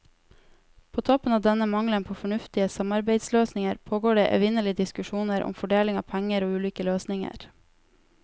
På toppen av denne mangelen på fornuftige samarbeidsløsninger, pågår det evinnelige diskusjoner om fordeling av penger og ulike løsninger.